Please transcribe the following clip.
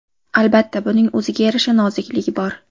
Albatta, buning o‘ziga yarasha nozikligi bor.